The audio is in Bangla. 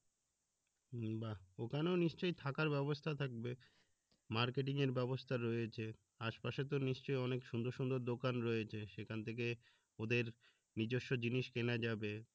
বাহ ওখানেও নিশ্চয়ই থাকার ব্যাবস্থা থাকবে মার্কেটিং এর ব্যাবস্থা রয়েছে আশেপাশে তো নিশ্চয়ই অনেক সুন্দর সুন্দর দোকান রয়েছে সেখান থেকে ওদের নিজস্ব কেনা যাবে